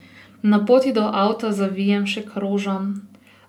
Na poti do avta zavijem še k rožam.